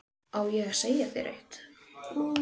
Á ég að segja þér eitt?